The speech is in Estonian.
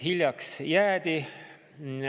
Hiljaks jäädi.